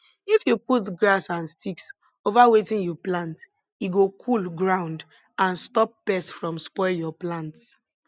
if you put grass and sticks over wetin you plant e go cool ground and stop pest from spoil your plants